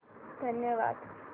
धन्यवाद